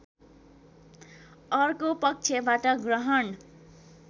अर्को पक्षबाट ग्रहण